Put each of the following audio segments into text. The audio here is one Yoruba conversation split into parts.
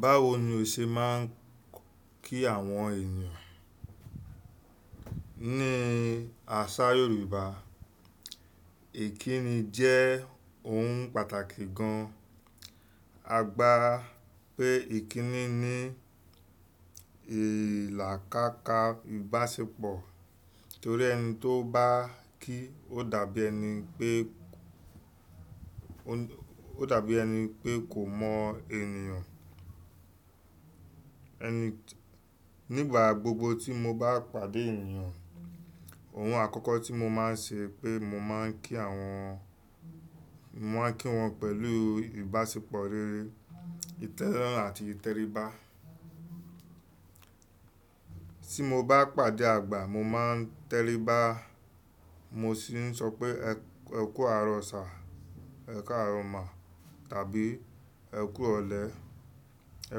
Báwo ni o ṣe máa ń kí àwọn ènìyàn? Ní àṣà Yorùbá, ìkíni jẹ́ ohun pàtàkì gan. A gbà pé ìkíni ní ìlàkàkà ìbáṣepọ̀ torí ẹni tó bá kí ó dàbí ẹni pé kò mọ ènìyàn. Nígbà gbogbo tí mo bá pàdé ènìyàn, ohun àkọ́kọ́ tí mo máa ń ṣe pé mo máa ń kí wọn pẹ̀lú ìbáṣepọ̀ rere, ìtẹ́lọ́rùn àti ìtẹríba. Tí mo bá pàdé àgbà mo máa ń tẹríba mo sì ń sọ pé “ẹ kú àarọ̀ sir”, “ẹ káàrọ̀ ma” tàbí “ẹ kú irọ̀lẹ́”, “ẹ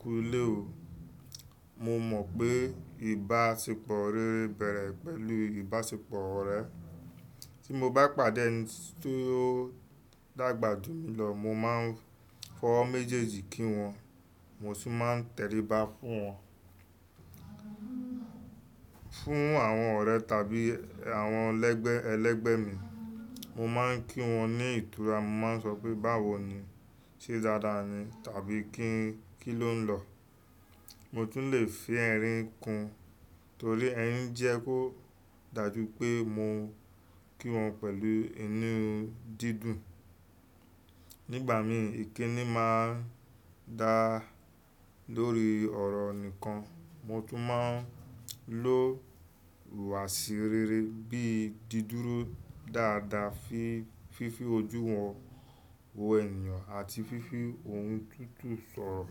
kú ilé o”. Mo mọ̀ pé ìbáṣepọ̀ rere bẹ̀rẹ̀ pẹ̀lú ìbáṣepọ̀ ọ̀rẹ́. Tí mo bá pàdé ẹni tí ó dàgbà jù mí lọ mo máa ń fọwọ́ méjèèjì kí wọn, mo sì máa ń tẹríba fún wọn. Fún àwọn ọ̀rẹ́ tàbí àwọn ẹlẹ́gbẹ́ mi, mo máa ń kí wọn ní ìtura. Mo máa ń sọ pé “báwo ni?” “ṣé dáadáa ni?” tàbí “kí ló ń lọ?” Mo tún lè fi ẹrin ń kun torí ẹrin jẹ́ kó dàjú pé mo kí wọn pẹ̀lú inú dídùn. Nígbà mi ìkíni máa ń dá lórí ọ̀rọ̀ nìkan. Mo tún máa ń lo ìwàṣi rere bí i dídúró dáadáa fún fífi ojú wọn wò ènìyàn àti fífi ohùn tútù sọ̀rọ̀.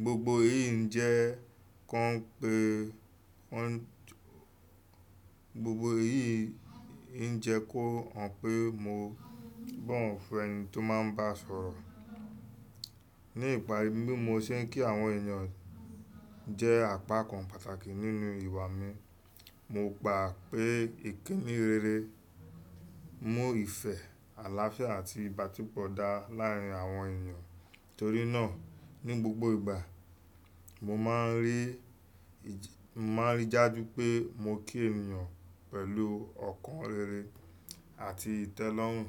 Gbogbo èyí ń jẹ jẹ́ kó hàn pé mo bọ̀wọ̀ fún ẹni tí o máa ń bá sọ̀rọ̀. Ní ìparí bí mo ṣe ń kí àwọn ènìyàn jẹ́ àpakàn pàtàkì nínú ìwà mi. Mo gbà pé ìkíni rere mú ìfẹ́, àlàáfíà àti ìbáṣepọ̀ dá láàrín àwọn ènìyàn. Torí náà ní gbogbo ìgbà, mo máa ń rí i daju pé mo kí ènìyàn pẹ̀lú ọ̀kan rere àti ìtẹ́lọ́rùn.